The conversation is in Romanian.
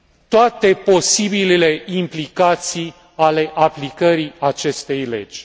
toate posibilele implicații ale aplicării acestei legi.